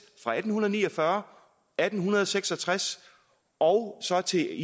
fra atten ni og fyrre atten seks og tres og så til